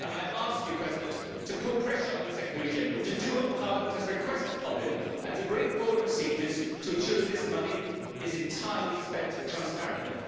I ask you, Mr President, to put pressure on the Secretary General to do what Parliament has requested of him, and to bring forward procedures to ensure that this money is spent entirely transparently.